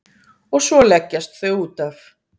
Og svo leggjast þau útaf.